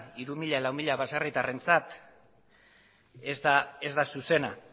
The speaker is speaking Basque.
hiruzero lauzero baserritarrentzat ez da zuzena